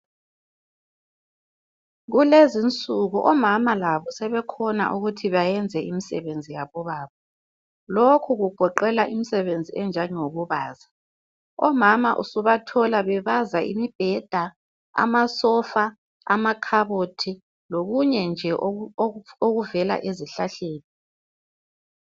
Kulezi insuku omama labo sebekhona ukuthi bayenze imisebenzi yabobaba. Lokhu kugoqela imisebenzi enjengokubaza . Omama usubathola bebaza imibheda , amasofa, amakhabothi lokunye nje okuvela ezihlahleni.